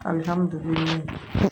Alihamudulila